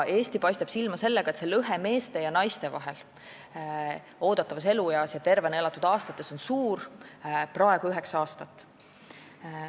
Eesti paistab silma sellega, et meeste ja naiste oodatava eluea ja tervena elatud aastate lõhe on suur, praegu üheksa aastat.